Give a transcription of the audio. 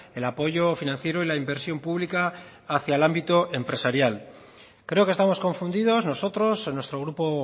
el apoyo financiero y la inversión pública hacia el ámbito empresarial creo que estamos confundidos nosotros nuestro grupo